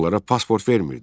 Onlara pasport vermirdi.